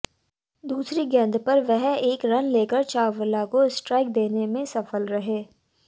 दूसरी गेंद पर वह एक रन लेकर चावला को स्ट्राइक देने में सफल रहे